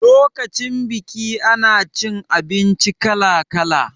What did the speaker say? Lokacin biki ana cin abinci kala kala